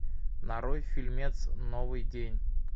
нарой фильмец новый день